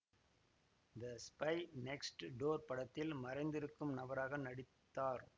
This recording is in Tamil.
த ஸ்பை நெக்ஸ்ட் டோர் படத்தில் மறைந்திருக்கும் நபராக நடித்தார்